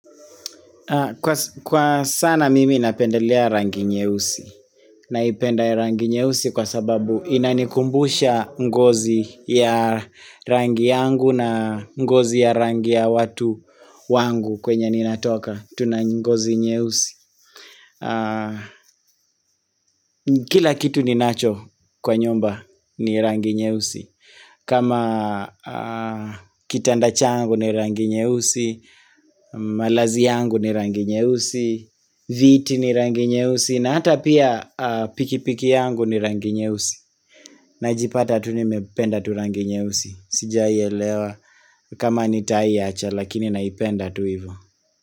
Kwa sana mimi napendelea rangi nyeusi. Naipenda rangi nyeusi kwa sababu inanikumbusha ngozi ya rangi yangu na ngozi ya rangi ya watu wangu kwenye ninatoka. Tunangozi nyeusi. Kila kitu ninacho kwa nyumba ni rangi nyeusi kama kitanda changu ni rangi nyeusi malazi yangu ni rangi nyeusi Viti ni rangi nyeusi na hata pia pikipiki yangu ni rangi nyeusi najipata tu nimependa tu rangi nyeusi Sijai elewa kama nitaiacha lakini naipenda tuivu.